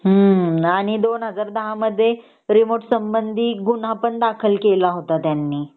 ह्मम ह्मम आणि २०१० मध्ये रिमोट संबंधी एक गुन्हा पण दाखल केला होता त्यांनी